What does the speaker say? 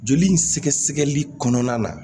Joli in sɛgɛsɛgɛli kɔnɔna na